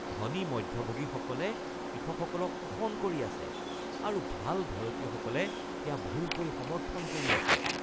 ধনী মধ্যভোগীসকলে কৃষকসকলক শোষণ কৰি আছে আৰু ভাল ভাৰতীয়সকলে সেয়া ভুলকৈ সমৰ্থন কৰি আছে।